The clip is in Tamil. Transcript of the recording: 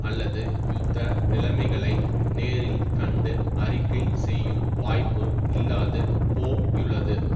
அல்லது யுத்த நிலைமைகளை நேரில் கண்டு அறிக்கை செய்யும் வாய்ப்போ இல்லாது போயுள்ளது